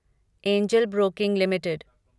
angel Broking limited